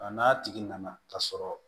A n'a tigi nana ka sɔrɔ